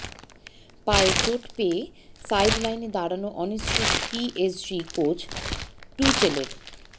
পায়ে চোট পেয়ে সাইডলাইনে দাঁড়ানো অনিশ্চিত পিএসজি কোচ টুচেলের